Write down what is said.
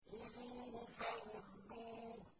خُذُوهُ فَغُلُّوهُ